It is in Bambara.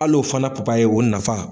Alo fana papaye o nafa.